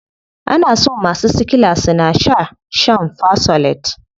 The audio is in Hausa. Ana so masu sickla suna shaa shan fersolate.